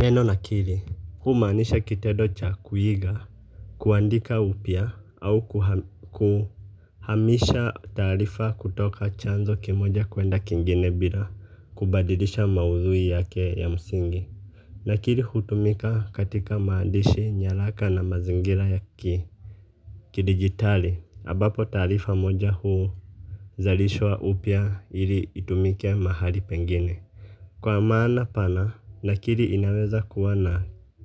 Neno nakili huwa kinamanisha kitendo cha kuhiga kuandika upya au kuhamisha taharifa kutoka chanzo kimoja kwenda kingina bila kubadilisha mahuthuyi yake ya msingi lakini hutumika katika mandishi nyalaka na mazingira ya ki kidigitali, ambapo tarifa moja huuzalishwa upya ili itumike mahali pengine. Kwa maana pana, nakiri inaweza kuwa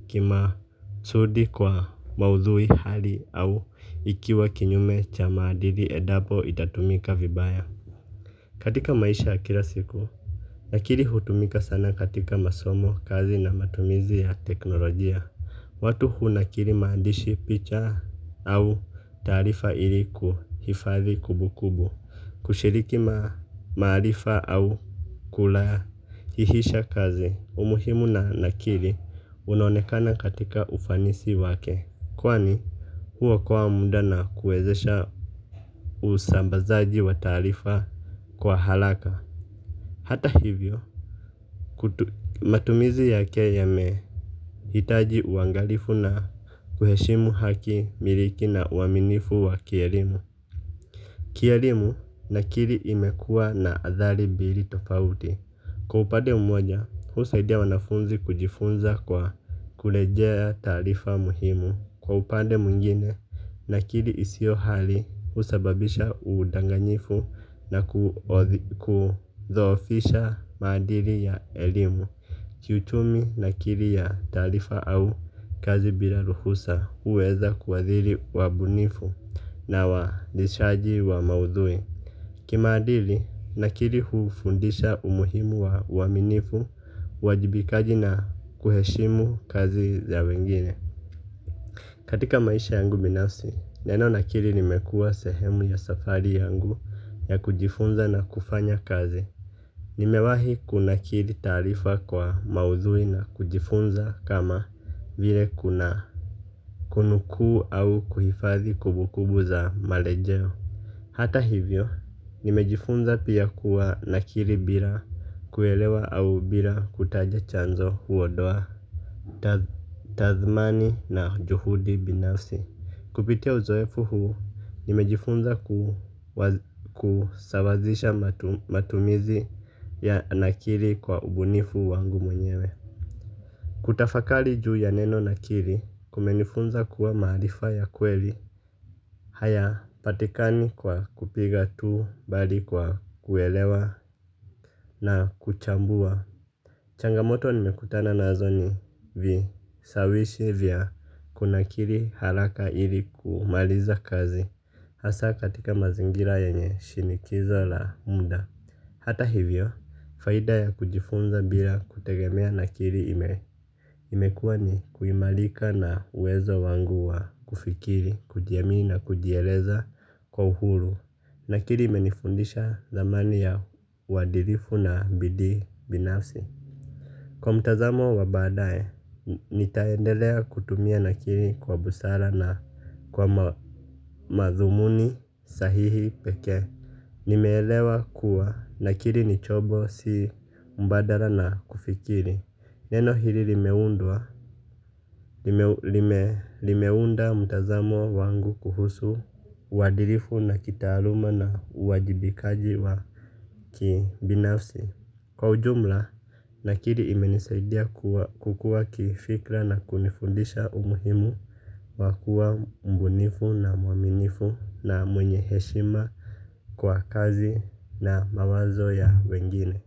kima sudi kwa maudhui hadi au ikiwa kinyume cha maadili endapo itatumika vibaya. Katika maisha ya kila siku, lakini hutumika sana katika masomo kazi na matumizi ya teknolojia. Watu hunakiri maandishi picha au tarifa ili kuhifathi kumbukumbu. Kushiriki maalifa au kula hihisha kazi umuhimu na nakiri unonekana katika ufanisi wake. Kwani huo kwa muda na kuezesha usambazaji wa tarifa kwa haraka. Hata hivyo matumizi yake yamehitaji uangalifu na kuheshimu haki miliki na uaminifu wa kialimu. Kihelimu nakiri imekua na athari mbili tofauti. Kwa upande umoja, husaidia wanafunzi kujifunza kwa kulejea tarifa muhimu. Kwa upande mwingine nakiri isio hali, husababisha udanganyifu na kuthofisha madiri ya elimu. Kiuchumi nakiri ya tarifa au kazi bila ruhusa uweza kuwadhiri wabunifu na wandishaji wa maudhui kimadili nakiri ufundisha umuhimu uwaminifu uwajibikaji na kuheshimu kazi za wengine, katika maisha yangu binafsi neno nakiri limekuwa sehemu ya safari yangu ya kujifunza nakufanya kazi. Nimewahi kunakiri tarifa kwa maudhui na kujifunza kama vile kuna kunukuu au kuhifathi kumbukumbu za malejeho hata hivyo nimejifunza pia kuwa nakiri bila kuhelewa au bila kutaja chanzo huondowa. Tazmani na juhudi binafsi. Kupitia uzoefu huu, nimejifunza kusawazisha matumizi ya nakiri kwa ubunifu wangu mwenyewe. Kutafakali juu ya neno nakiri kumenifunza kuwa mahalifa ya kweli hayapatikani kwa kupiga tu bahali kwa kuelewa na kuchamvuwa. Changamoto nimekutana nazo ni visawishi vya kuna kiri haraka ili kumaliza kazi hasa katika mazingira yenye shinikizo la munda. Hata hivyo, faida ya kujifunza bila kutegemea na kiri ime. Imekua ni kuimalika na uwezo wangu wa kufikiri, kujiami na kujieleza kwa uhuru nakiri imenifundisha zamani ya wadilifu na bidi binafsi. Kwa mtazamo wa baadae, nitaendelea kutumia na kiri kwa busara na mathumuni sahihi pekee. Nimeelewa kuwa nakiri ni chombo si mbadala na kufikiri. Neno hili limeunda mtazamo wangu kuhusu wadilifu na kitaaluma na uwajibikaji wa kibinafsi. Kwa ujumla, nakiri imenisaidia kukua kifikla na kunifundisha umuhimu wa kuwa mbunifu na mwaminifu na mwenye heshima kwa kazi na mawazo ya wengine.